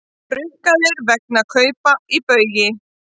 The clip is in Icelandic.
Rukkaðir vegna kaupa í Baugi